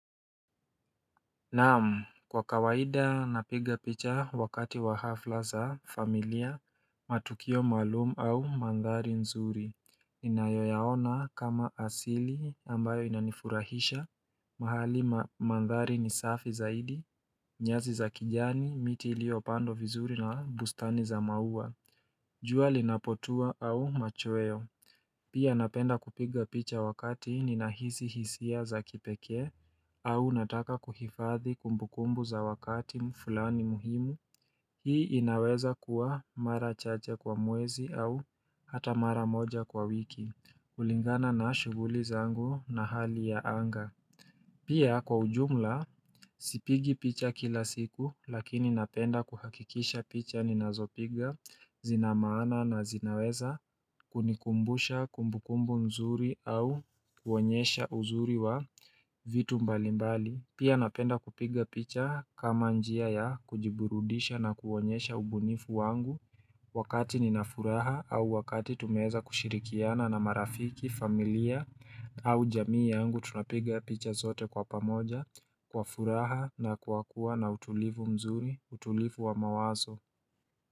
Naam kwa kawaida napiga picha wakati wa hafla za familia matukio malumu au mandhari nzuri Ninayoyaona kama asili ambayo inanifurahisha mahali mandhari ni safi zaidi nyasi za kijani miti lio pandwa vizuri na bustani za maua jua linapotua au machowe Pia napenda kupiga picha wakati ninahisi hisia za kipekee au nataka kuhifadhi kumbukumbu za wakati mfulani muhimu, hii inaweza kuwa mara chache kwa mwezi au hata mara moja kwa wiki, kulingana na shuguli zangu na hali ya anga. Pia kwa ujumla sipigi picha kila siku lakini napenda kuhakikisha picha ninazopiga zinamana na zinaweza kunikumbusha kumbukumbu mzuri au kuonyesha uzuri wa vitu mbalimbali. Pia napenda kupiga picha kama njia ya kujiburudisha na kuonyesha ubunifu wangu. Wakati ninafuraha au wakati tumeeza kushirikiana na marafiki familia au jamii yangu tunapiga picha zote kwa pamoja kwa furaha na kwa kuwana utulivu mzuri utulivu wa mawazo.